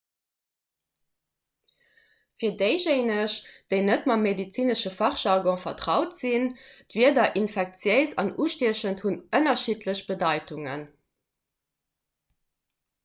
fir déijéineg déi net mam medezinesche fachjargon vertraut sinn d'wierder infektiéis an ustiechend hunn ënnerschiddlech bedeitungen